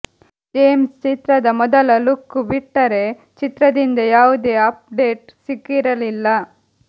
James ಚಿತ್ರದ ಮೊದಲ look ಬಿಟ್ಟರೆ ಚಿತ್ರದಿಂದ ಯಾವುದೆ ಅಪ್ ಡೇಟ್ ಸಿಕ್ಕಿರಲಿಲ್ಲ